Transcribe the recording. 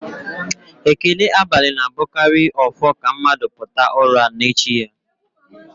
Ekele abalị na-abụkarị ọfọ ka mmadụ pụta ụra n'echi ya